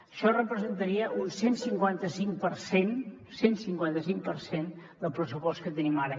això representaria un cent i cinquanta cinc per cent cent i cinquanta cinc per cent del pressupost que tenim ara